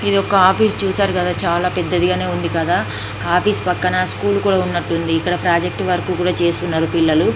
ఇది ఒక ఆఫీసు చూశారు కదా చాలా పెద్దది గానే ఉంది. ఆఫీసు పక్కన ఇక్కడ ప్రాజెక్టు వర్క్ చేస్తూ ఉన్నారు పిల్లలు.